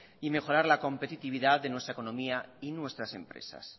y mejorar la competitividad de nuestra economía y nuestras empresas